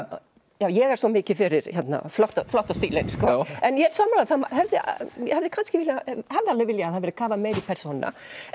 ég er svo mikið fyrir flotta flotta stílinn en ég er sammála ég hefði alveg viljað að það hefði verið kafað meira í persónuna en